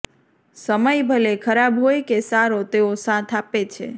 સમય ભલે ખરાબ હોય કે સારો તેઓ સાથ આપે છે